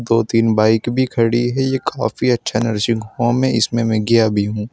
दो तीन बाइक भी खड़ी है यह काफी अच्छा नर्सिंग होम है इसमें मैं गया भी हूं।